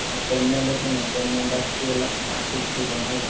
ଆଉ payment ଶୁଣ payment ଆସିଛି ହେଲା ପାଞ୍ଚ କୋଟି ଟଙ୍କା ହେଲା।